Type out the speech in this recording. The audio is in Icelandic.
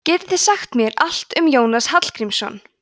getið þið sagt mér allt um jónas hallgrímsson